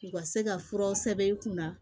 U ka se ka furaw sɛbɛn i kunna